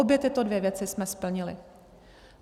Obě tyto dvě věci jsme splnili.